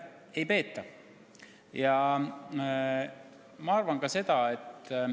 Ei peeta!